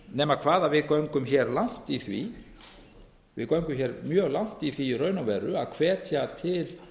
nema hvað að við göngum hér mjög langt í því í raun og veru að hvetja til